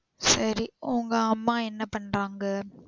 உங்க அம்மா என்ன பண்றாங்க?